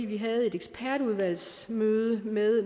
vi havde et udvalgsmøde med